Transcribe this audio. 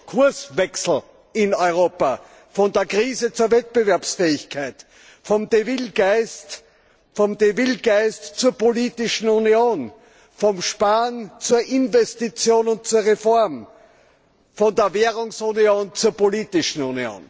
Kurswechsel in Europa, von der Krise zur Wettbewerbsfähigkeit, vom Geist von Deauville zur Politischen Union, vom Sparen zur Investition und zur Reform, von der Währungsunion zur Politischen Union.